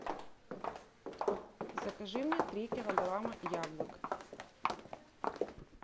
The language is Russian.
закажи мне три килограмма яблок